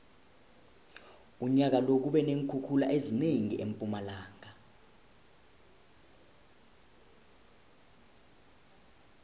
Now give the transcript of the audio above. unyaka lo kube neenkhukhula ezinengi empumalanga